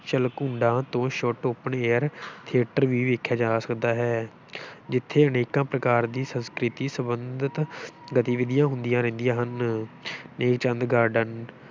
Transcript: ਜਲਕੁੰਡਾਂ ਤੋਂ ਛੁੱਟ open air theatre ਵੀ ਵੇਖਿਆ ਜਾ ਸਕਦਾ ਹੈ ਜਿੱਥੇ ਅਨੇਕਾਂ ਪ੍ਰਕਾਰ ਦੀ ਸੰਸਕ੍ਰਿਤੀ ਸਬੰਧਤ ਗਤੀਵਿਧੀਆਂ ਹੁੰਦੀਆਂ ਰਹਿੰਦੀਆਂ ਹਨ ਨੇਕ ਚੰਦ garden